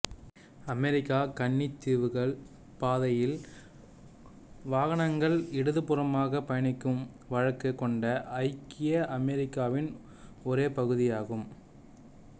அமெரிக்க கன்னித்தீவுகள் பாதையில் வாகனங்கள் இடதுபுறமாக பயணிக்கும் வழக்கு கொண்ட ஐக்கிய அமெரிக்காவின் ஒரே பகுதியாகும்